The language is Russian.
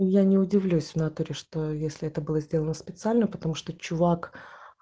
я не удивлюсь в натуре что если это было сделано специально потому что чувак